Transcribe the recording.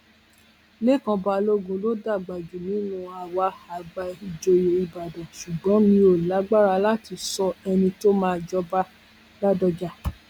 lẹkan balógun ló dàgbà jù nínú àwa àgbà ìjòyè ìbàdàn ṣùgbọn mi ò lágbára láti sọ ẹni tó máa jọbaládọjà